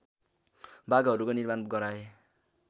बागहरूको निर्माण गराए